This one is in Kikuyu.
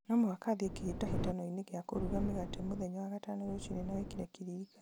no mũhaka thiĩ kĩhĩtahitano-inĩ gĩa kũruga mĩgate mũthenya wa gatano rũciinĩ na wĩkĩre kĩririkano